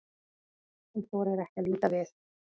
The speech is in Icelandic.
Hún þorir ekki að líta við.